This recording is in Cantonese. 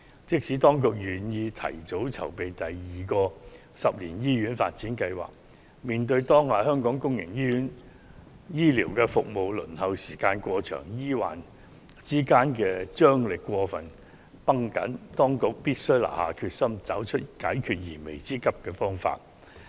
即使當局願意提早籌備第二個十年醫院發展計劃，面對當下香港公營醫療服務輪候時間過長，醫患之間張力過分繃緊的問題，當局須下定決心，找出解決燃眉之急的方法。